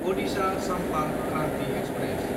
Adisha Sampark Kranti express